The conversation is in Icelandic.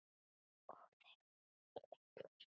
Og þeir voru ekki litlir.